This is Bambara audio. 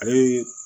Ale ye